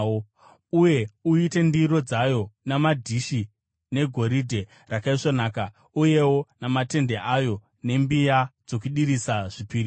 Uye uite ndiro dzayo namadhishi negoridhe rakaisvonaka, uyewo namatende ayo nembiya dzokudirisa zvipiriso.